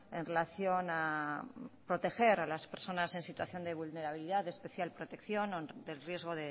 en relación a proteger a las personas en situación de vulnerabilidad de especial protección o del riesgo